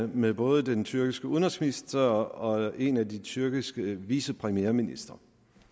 med både den tyrkiske udenrigsminister og en af de tyrkiske vicepremierministre